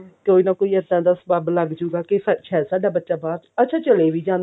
ਕੋਈ ਨਾ ਕੋਈ ਇੱਦਾਂ ਦਾ ਸਬੱਬ ਲੱਗਜੁਗਾ ਕਿ ਸ਼ਾਇਦ ਸਾਡਾ ਬੱਚਾ ਬਾਹਰ ਅੱਛਾ ਚਲੇ ਵੀ ਜਾਂਦੇ ਨੇ